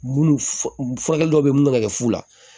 Munnu furakɛli dɔw be mun be ka kɛ fu la